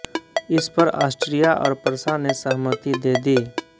इस पर आस्ट्रिया और प्रशा ने सहमति दे दी